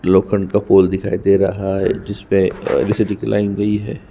लोखन का पोल दिखाई दे रहा है जिसपे अ एक लाइन गयी हुई हैं।